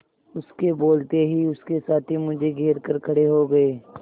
उसके बोलते ही उसके साथी मुझे घेर कर खड़े हो गए